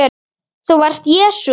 ÞÚ VARST JESÚ